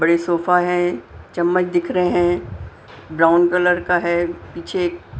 बड़े सोफा है चम्मच दिख रहे हैं ब्राउन कलर का है पीछे एक--